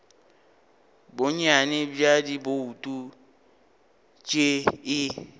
bonnyane bja dibouto tše e